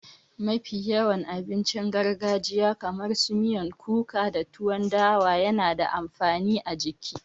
Mafi yawan abincin gargajiya kamar su miyan kuka da tuwan dawa yana da amfani a jiki